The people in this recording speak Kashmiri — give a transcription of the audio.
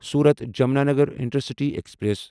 صورت جَمنانگر انٹرسٹی ایکسپریس